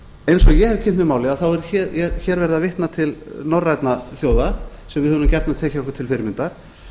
eins og ég hef kynnt mér málið er hér verið að vitna til norrænna þjóða sem við höfum gjarnan tekið okkur til fyrirmyndar